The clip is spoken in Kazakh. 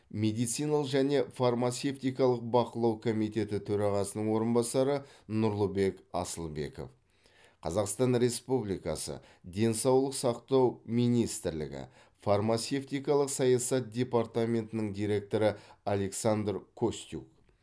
медициналық және фармацевтикалық бақылау комитеті төрағасының орынбасары нұрлыбек асылбеков қазақстан республикасы денсаулық сақтау министрлігі фармацевтикалық саясат департаментінің директоры александр костюк